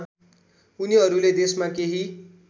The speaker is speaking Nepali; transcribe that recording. उनीहरूले देशमा केही